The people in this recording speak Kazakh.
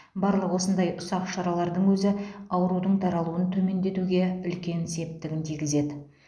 барлық осындай ұсақ шаралардың өзі аурудың таралуын төмендетуге үлкен септігін тигізеді